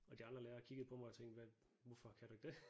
Og de andre lærere kiggede på mig og tænkte hvad hvorfor kan du ikke det